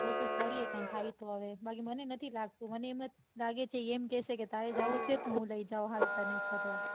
કોસીસ કરીયે કઈ થાય તો હવે બાકી મને નઈ લાગતું મને એમ જ લાગે છે એ એમ કેસે કે તારે જાઉં છે તો હાલ હું લઇ જાઉં ફરવા. ના